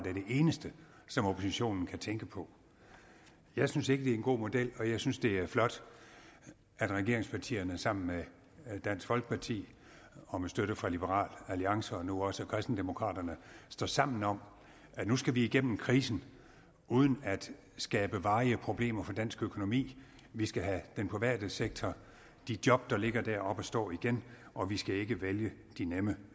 er det eneste som oppositionen kan tænke på jeg synes ikke det er en god model og jeg synes det er flot at regeringspartierne sammen med dansk folkeparti og med støtte fra liberal alliance og nu også kristendemokraterne står sammen om at nu skal vi igennem krisen uden at skabe varige problemer for dansk økonomi vi skal have den private sektor de job der ligger der op at stå igen og vi skal ikke vælge de nemme